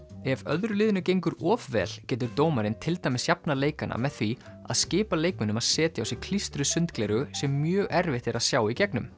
ef öðru liðinu gengur of vel getur dómarinn til dæmis jafnað leikana með því að skipa leikmönnum að setja á sig klístruð sundgleraugu sem er mjög erfitt að sjá í gegnum